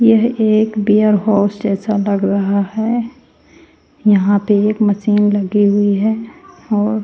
यह एक warehouse जैसा लग रहा है यहां पे एक मशीन लगी हुई है और --